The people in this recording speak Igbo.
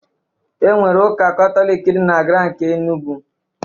Enwere Ụka Katọlik dị na GRA nke Enugwu.